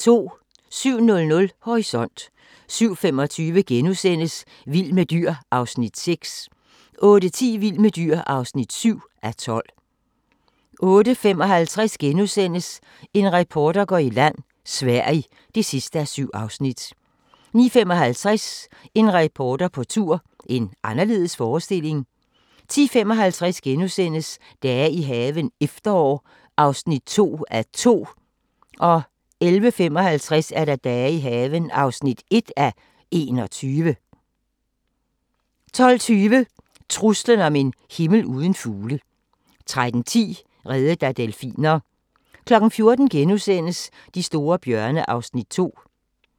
07:00: Horisont 07:25: Vild med dyr (6:12)* 08:10: Vild med dyr (7:12) 08:55: En reporter går i land: Sverige (7:7)* 09:55: En reporter på tur – en anderledes forestilling 10:55: Dage i haven – efterår (2:2)* 11:55: Dage i haven (1:21) 12:20: Truslen om en himmel uden fugle 13:10: Reddet af delfiner 14:00: De store bjørne (Afs. 2)*